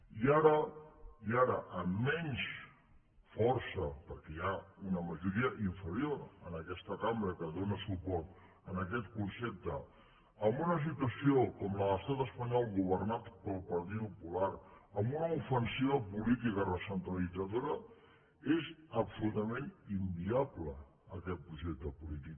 i ara amb menys força perquè hi ha una majoria inferior en aquesta cambra que dóna suport a aquest concepte amb una situació com la de l’estat espanyol governat pel partido popular amb una ofensiva política recentralitzadora és absolutament inviable aquest projecte polític